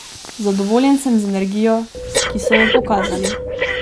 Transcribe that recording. Zadovoljen sem z energijo, ki so jo pokazali.